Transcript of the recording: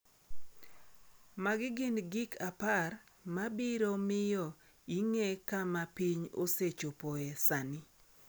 Magi gin gik 10 ma biro miyo ing’e kama piny osechopoe sani.